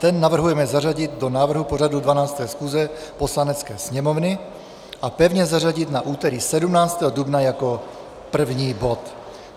Ten navrhujeme zařadit do návrhu pořadu 12. schůze Poslanecké sněmovny a pevně zařadit na úterý 17. dubna jako první bod.